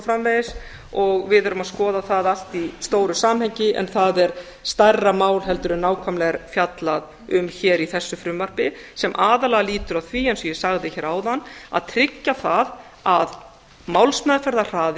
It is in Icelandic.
framvegis og við erum að skoða það allt í stóru samhengi en það er stærra mál heldur en nákvæmlega er fjallað um í þessu frumvarpi sem aðallega lýtur að því eins og ég sagði hér áðan að tryggja það að